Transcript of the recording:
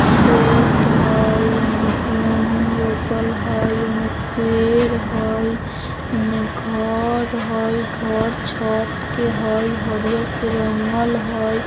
खेत हेय ओय मे गहूम रोपल हेय यहाँ पेड़ हेय इनने घर हेय घर छत के हेय हरियर से रंगल हेय।